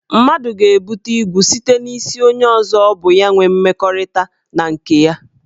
Mmadụ ga-ebute igwu site n' isi onye ọzọ bu ya inwe mmekọrịta na nke ya.